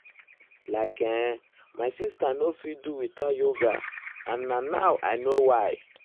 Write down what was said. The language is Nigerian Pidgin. like[um]my sister nor fit do without yoga and na now i now i know why.